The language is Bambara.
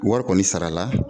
Wɔri kɔni sarala